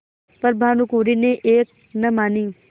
पर भानुकुँवरि ने एक न मानी